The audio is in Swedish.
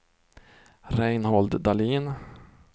Reinhold Dahlin